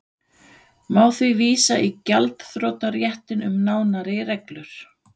Má því vísa í gjaldþrotaréttinn um nánari reglur.